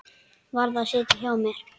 Varð að sitja á mér.